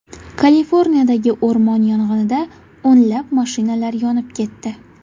Kaliforniyadagi o‘rmon yong‘inida o‘nlab mashinalar yonib ketdi.